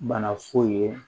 Bana foyi ye